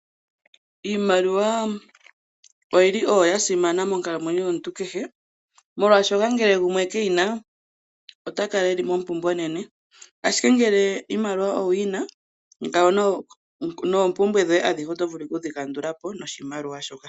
Iimaliwa oyili oyo ya simana monkalamweno yomuntu kehe molwaashoka ngele gumwe keyina ota kala eli mompumbwe onene, ashike ngele iimaliwa owu yina ngawo noompumbwe dhoye adhihe oto vuku kudhi kandulapo noshimaliwa shoka.